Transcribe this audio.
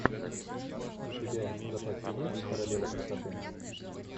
у тебя в запасе есть королева красоты